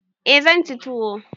Eh zan ci tuwo.